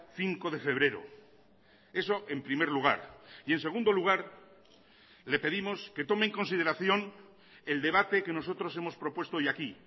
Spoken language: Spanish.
cinco de febrero eso en primer lugar y en segundo lugar le pedimos que tome en consideración el debate que nosotros hemos propuesto hoy aquí